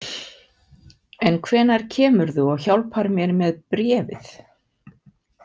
En hvenær kemurðu og hjálpar mér með bréfið?